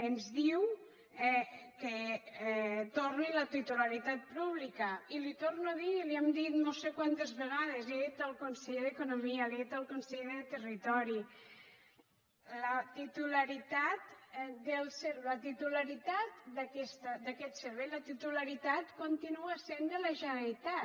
ens diu que torni la titularitat pública i li ho torno a dir i li ho hem dit no sé quantes vegades li ho ha dit el conseller d’economia li ho ha dit el conseller de territori la titularitat d’aquest servei la titularitat continua sent de la generalitat